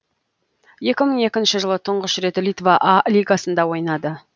екі мың екінші жылы тұңғыш рет литва а лигасында ойнады